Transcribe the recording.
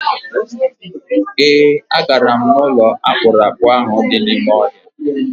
E, a gara m n'ụlọ akpụrụakpụ ahụ dị n'ime ọhịa.